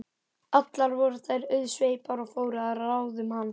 Allar voru þær auðsveipar og fóru að ráðum hans.